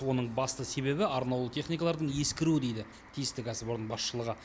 оның басты себебі арнаулы техникалардың ескіруі дейді тиісті кәсіпорын басшылығы